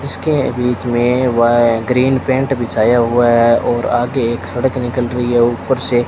इसके बीच में वय ग्रीन पेंट बिछाया हुआ है और आगे एक सड़क निकल रही है। ऊपर से--